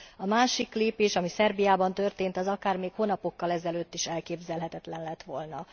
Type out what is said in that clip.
A másik lépés, ami Szerbiában történt az akár még hónapokkal ezelőtt is elképzelhetetlen lett volna.